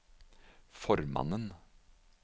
formannen